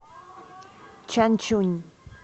чанчунь